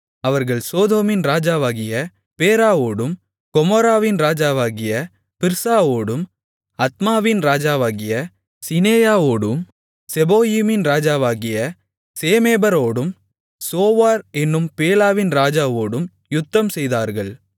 அவர்கள் சோதோமின் ராஜாவாகிய பேராவோடும் கொமோராவின் ராஜாவாகிய பிர்சாவோடும் அத்மாவின் ராஜாவாகிய சிநெயாவோடும் செபோயீமின் ராஜாவாகிய செமேபரோடும் சோவார் என்னும் பேலாவின் ராஜாவோடும் யுத்தம் செய்தார்கள்